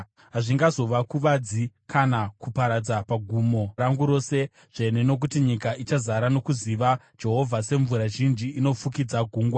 Hazvingazokuvadzi kana kuparadza pagomo rangu rose dzvene, nokuti nyika ichazara nokuziva Jehovha semvura zhinji inofukidza gungwa.